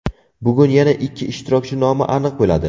Bugun yana ikki ishtirokchi nomi aniq bo‘ladi.